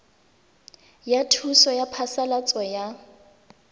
ya thuso ya phasalatso ya